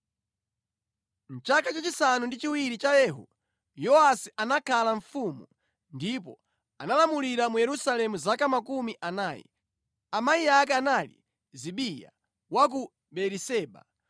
Mʼchaka chachisanu ndi chiwiri cha Yehu, Yowasi anakhala mfumu, ndipo analamulira mu Yerusalemu zaka makumi anayi. Amayi ake anali Zibiya wa ku Beeriseba.